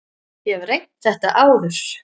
Ég hef reynt þetta áður.